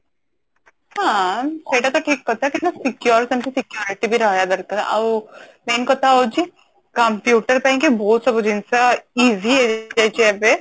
ହଁ ସେଟା ତ ଠିକ କଥା କିନ୍ତୁ secure ସେମଟି security ବି ରହିବା ଦରକାର ଆଉ main କଥା ହଉଛି computer ପାଇଁ କି ବହୁତ ସବୁ ଜିନିଷ easy ହେଇଯାଇଛି ଏବେ